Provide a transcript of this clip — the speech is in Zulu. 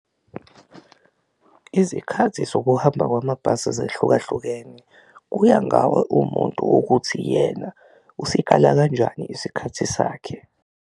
Izikhathi zokuhamba kwamabhasi zehlukahlukene kuya ngawe uwumuntu ukuthi yena usikala kanjani isikhathi sakhe.